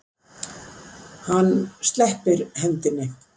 Hann sleppir hendinni.